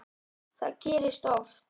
Það gerist oft.